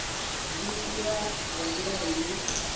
zwi itwa nga ndila ine